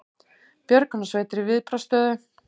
Björgunarsveitir í viðbragðsstöðu